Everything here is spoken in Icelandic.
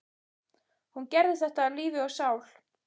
Hún gerði þetta af lífi og sál.